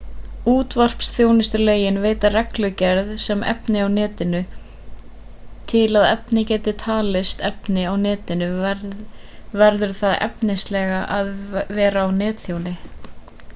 útvarpsþjónustulögin veita reglugerð um efni á netinu til að efni geti talist efni á netinu verður það efnislega að vera á netþjóni